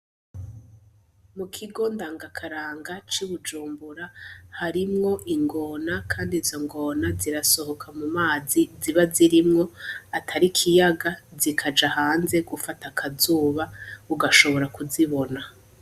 Mukigo ndangakaranga c'Ibujumbura ,harimwo ingona Kandi izo ngona zirasohoka mumazi ziba zirimwo ,atari ikiyaga zikaja hanze gufata akazuba ugashobora kuzibona.